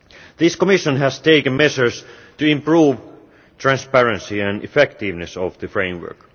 This Commission has taken measures to improve the transparency and effectiveness of the framework.